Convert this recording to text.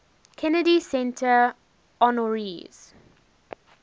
kennedy center honorees